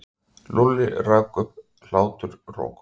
Lúlli rak upp hláturroku.